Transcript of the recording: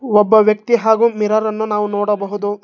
ಒಬ್ಬ ವ್ಯಕ್ತಿ ಹಾಗು ಮಿರರನ್ನು ನಾವು ನೋಡಬಹುದು.